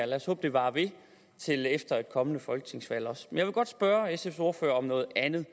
lad os håbe det varer ved til efter et kommende folketingsvalg også jeg vil godt spørge sfs ordfører om noget andet